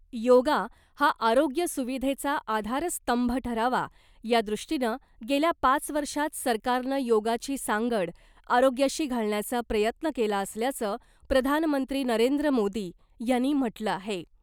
योगा हा आरोग्य सुविधेचा आधारस्तंभ ठरावा यादृष्टीनं गेल्या पाच वर्षात सरकारनं योगाची सांगड आरोग्याशी घालण्याचा प्रयत्न केला असल्याचं प्रधानमंत्री नरेंद्र मोदी यांनी म्हटलं आहे .